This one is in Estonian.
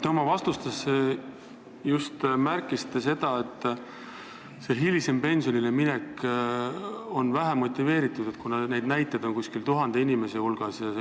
Te oma vastustes just märkisite, et see hilisem pensionile minek on vähe motiveeritud, seda on teinud umbes tuhat inimest.